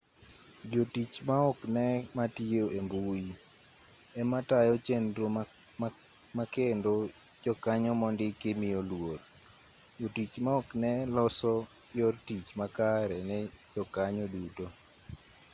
jotich maoknee matiyo embui ema tayo chenro makendo jokanyo mondiki miyo luor jotich maoknee loso yor tich makare ne jokanyo duto